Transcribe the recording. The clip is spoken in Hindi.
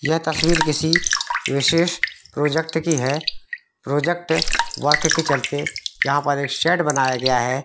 यह तस्वीर किसी विशेष प्रोजेक्ट की है प्रोजेक्ट वाक्ये के चलते यहाँ पर एक शेड बनाया गया है |